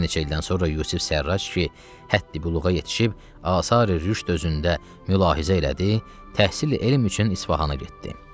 Bir neçə ildən sonra Yusif Sərrac ki, həddi-büluğa yetişib asari rüşd özündə mülahizə elədi, təhsili elm üçün İsfahana getdi.